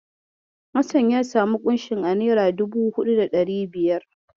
Hassan ya samu ƙunshin a nera dubu huɗu da ɗari biyar.